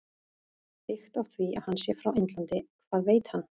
Byggt á því að hann sé frá Indlandi- Hvað veit hann?